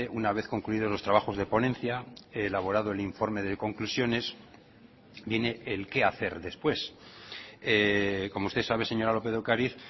una vez concluido los trabajos de ponencia elaborado el informe de conclusiones viene el qué hacer después como usted sabe señora lópez de ocariz